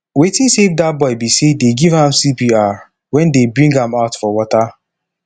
wetin save dat boy be say dey give am cpr wen dey bring am out for water